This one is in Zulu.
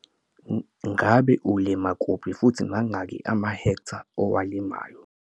Ngabe ulima kuphi futhi mangaki amahektha owalimayo?